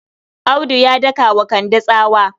Audu ya daka wa Kande tsawa.